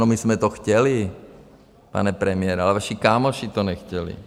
No, my jsme to chtěli, pane premiére, ale naši kámoši to nechtěli.